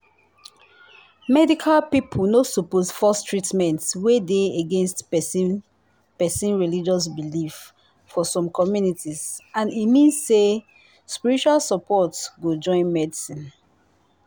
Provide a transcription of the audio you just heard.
medical people no suppose force treatment wey dey against person person religious belief for some communities and e mean say spiritual support go join medicine